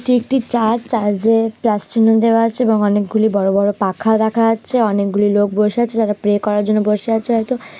এটি একটি church church -এ প্লাস চিহ্ন দেওয়া আছে এবং অনেকগুলি বড় বড় পাখা দেখা যাচ্ছে অনেকগুলো লোক বসে আছে যারা প্রে করার জন্য বসে আছে হয়তো।